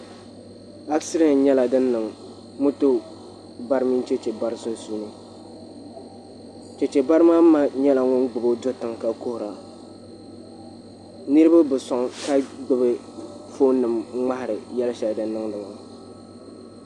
Asidɛnt nyɛla din niŋ moto bari mini chɛchɛ bari sunsuuni chɛchɛ bari maa ma nyɛla ŋun gbubo do tiŋ ka kuhura niraba bi soŋ ka gbubi foon nik ŋmahari yɛli shɛli din niŋdi maa